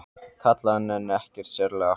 kallaði hann en ekkert sérlega hátt.